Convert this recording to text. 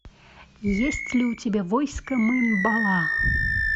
есть ли у тебя войско мын бала